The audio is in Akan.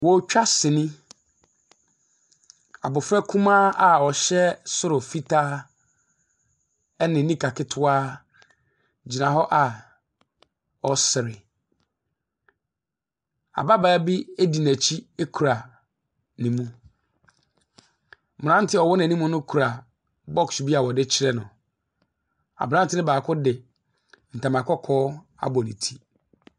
Ɔretwa sini, abɔfra kumaa a ɔhyɛ soro fitaa ne nika ketewa gyina hɔ a ɔresre. Ababaawa bi edi nɛkyi ekura ne mu. Abranteɛ a ɔwɔ n'anim no kura box bia ɔdeekyerɛ no. abranteɛ baako de ntoma kɔkɔɔ abɔ ne ti.